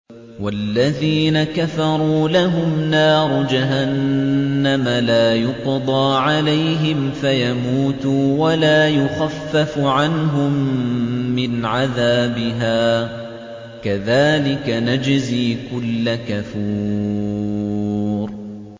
وَالَّذِينَ كَفَرُوا لَهُمْ نَارُ جَهَنَّمَ لَا يُقْضَىٰ عَلَيْهِمْ فَيَمُوتُوا وَلَا يُخَفَّفُ عَنْهُم مِّنْ عَذَابِهَا ۚ كَذَٰلِكَ نَجْزِي كُلَّ كَفُورٍ